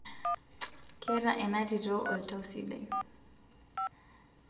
keeta ena tito oltau sidai